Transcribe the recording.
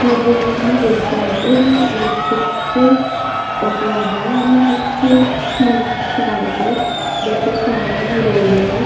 महत्वपूर्ण गोष्ट आहे ही इलेक्ट्रिक चे ऑटो आहे आणि ही खूप स्मूत चालते बट सारख रोडवर --